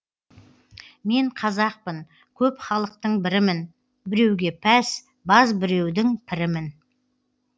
мен қазақпын көп халықтың бірімін біреуге пәс баз біреудің пірімін